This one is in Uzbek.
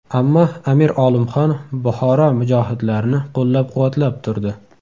Ammo Amir Olimxon Buxoro mujohidlarini qo‘llab-quvvatlab turdi.